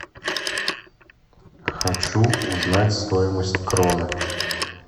хочу узнать стоимость кроны